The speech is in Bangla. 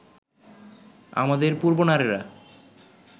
আমাদের পূর্বনারীরা